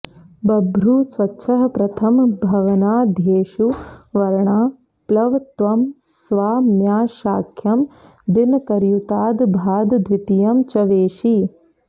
बभ्रुः स्वच्छः प्रथम भवनाद्येषु वर्णाः प्लवत्वं स्वाम्याशाख्यं दिन करयुताद् भाद् द्वितीयं च वेशिः